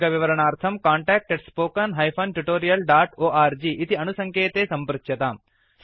अधिकविवरणार्थं contact spoken tutorialorg इति अणुसङ्केते सम्पृच्यताम्